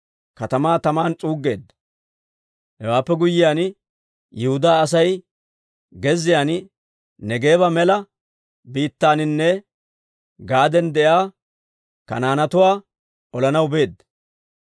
Hewaappe guyyiyaan, Yihudaa Asay gezziyaan, Neegeeba mela biittaaninne gad'an de'iyaa Kanaanetuwaa olanaw beedda.